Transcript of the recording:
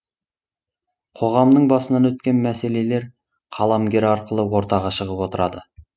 қоғамның басынан өткен мәселелер қаламгер арқылы ортаға шығып отырады